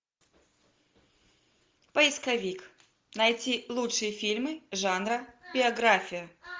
поисковик найти лучшие фильмы жанра биография